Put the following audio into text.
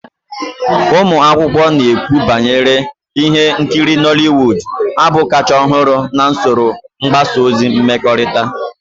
Ụmụ akwụkwọ na-ekwukwa banyere ihe nkiri Nollywood, abụ kachasị ọhụrụ na usoro mgbasa ozi mmekọrịta